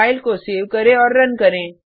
file को save करें और रन करें